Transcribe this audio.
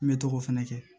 N bɛ to k'o fɛnɛ kɛ